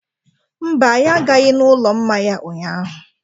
Mba, anyị agaghị n'ụlọ mmanya ụnyaahụ.